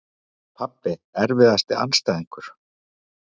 Pabbi Erfiðasti andstæðingur?